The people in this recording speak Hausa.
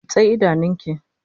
Runtse idanun ki!